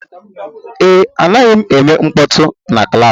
Ee, anaghị m eme mkpọtụ na klaasị